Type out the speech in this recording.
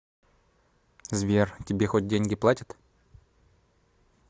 сбер тебе хоть деньги платят